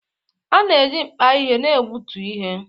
A na-eji mkpa ihe na-egbutu ihe